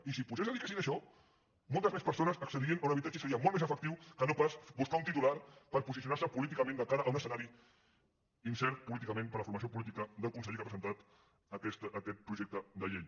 i si vostès es dediquessin a això moltes més persones accedirien a un habitatge i seria molt més efectiu que no pas buscar un titular per posicionarse políticament de cara a un escenari incert políticament per a la formació política del conseller que ha presentat aquest projecte de llei